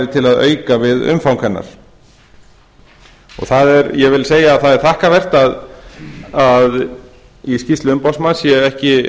til að auka við umfang hennar ég vil að segja að það er þakkarvert að í skýrslu umboðsmanns sé ekki